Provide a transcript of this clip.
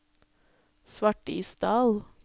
Svartisdal